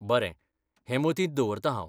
बरें, हें मतींत दवरतां हांव.